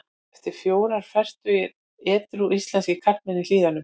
En fjórir fertugir edrú íslenskir karlmenn í Hlíðunum.